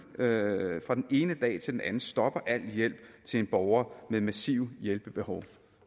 øret fra den ene dag til den anden stopper al hjælp til en borger med massive hjælpebehov